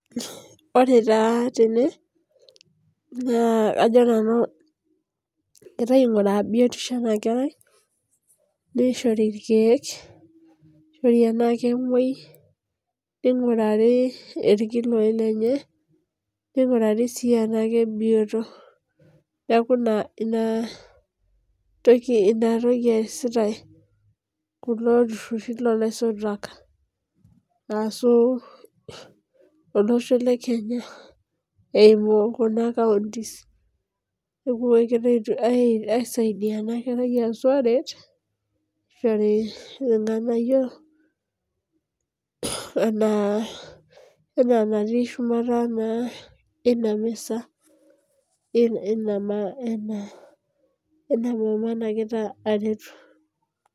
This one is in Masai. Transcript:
Ore tene naa egira ainguraa biotisho ena kerai, neishori irkeek, tenaa kemuoi neigurari irkiloi lenye. Eingurari sii tenaa keibioto niaku ina toki eesita kulo tururi loo laisotuak ashuu olosho le Kenya eimu kuna kaunti. Neishori ilganayio anaa enatii shumata ina misa ena mama naretito